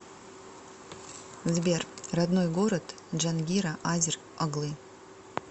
сбер родной город джангира азер оглы